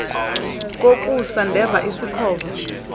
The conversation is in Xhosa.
kokusa ndeva isikhova